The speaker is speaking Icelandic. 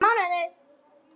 Nokkra mánuði?